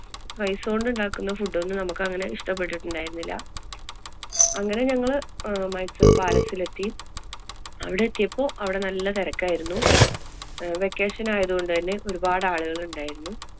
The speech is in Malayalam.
rice കൊണ്ടുണ്ടാക്കുന്ന food ഒന്നും നമുക്ക് അങ്ങനെ ഇഷ്ടപ്പെട്ടിട്ടുണ്ടയിരുന്നില്ല. അങ്ങനെ ഞങ്ങള് അഹ് മൈസൂര്‍ palace ലെത്തി. അവിടെത്തിയപ്പോള്‍ അവിടെ നല്ല തിരക്കായിരുന്നു. അഹ് vacation ആയതുകൊണ്ട് തന്നെ ഒരുപാട് ആളുകള്‍ ഉണ്ടായിരുന്നു.